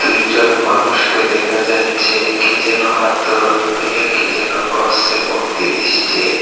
দুইজন মানুষকে দেখা যাচ্ছে কী যেন হাতে লইয়া কী যেন করসে ভক্তি দিচসে ।